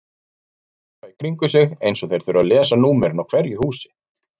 Þeir horfa í kringum sig eins og þeir þurfi að lesa númerin á hverju húsi.